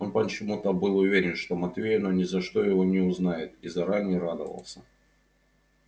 он почему то был уверен что матвеевна ни за что его не узнает и заранее радовался